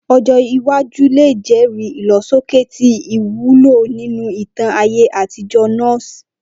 Ojo iwaju le jẹri ilosoke ti iwulo ninu itan aye atijọ Norse.